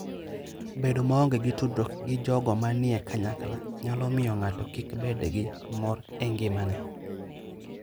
Bedo maonge gi tudruok gi jogo manie kanyakla nyalo miyo ng'ato kik bed gi mor e ngimane.